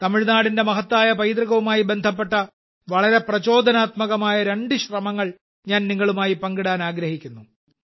തമിഴ്നാടിന്റെ മഹത്തായ പൈതൃകവുമായി ബന്ധപ്പെട്ട വളരെ പ്രചോദനാത്മകമായ രണ്ട് ശ്രമങ്ങൾ നിങ്ങളുമായി പങ്കിടാൻ ഞാൻ ആഗ്രഹിക്കുന്നു